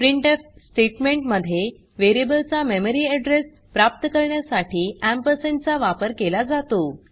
printf statement मध्ये variable चा memory address प्राप्त करण्यासाठी एम्परसँड चा वापर केला जातो